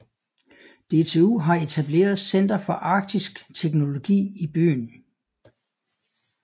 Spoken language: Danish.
DTU har etableret Center for Arktisk Teknologi i byen